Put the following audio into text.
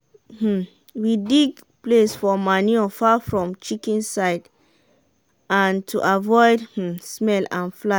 my aunty um dey spread ashes to de farm from snail komkom wey she um grind um e go make do sansan strong.